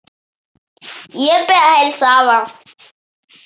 Ég bið að heilsa afa.